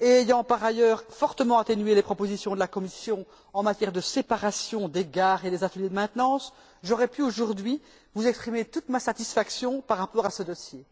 et ayant par ailleurs fortement atténué les propositions de la Commission en matière de séparation des gares et des ateliers de maintenance, j'aurais pu, aujourd'hui, vous exprimer toute ma satisfaction par rapport à ce dossier.